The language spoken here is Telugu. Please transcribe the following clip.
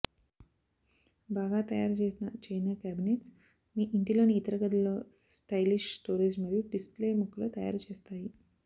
బాగా తయారుచేసిన చైనా క్యాబినెట్స్ మీ ఇంటిలోని ఇతర గదులలో స్టైలిష్ స్టోరేజ్ మరియు డిస్ప్లే ముక్కలు తయారు చేస్తాయి